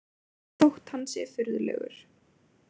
Þótt hann sé furðulegur.